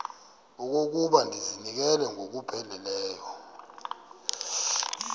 okokuba ndizinikele ngokupheleleyo